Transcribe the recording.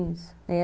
Isso, é.